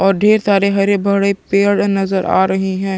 और ढेर सारे हरे भरे पेड़ नजर आ रहे है।